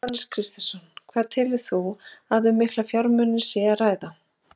Jóhannes Kristjánsson: Hvað telur þú að um mikla fjármuni sé að ræða?